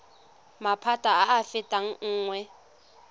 maphata a a fetang nngwe